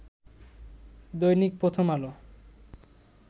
দৈনিক প্রথম আলো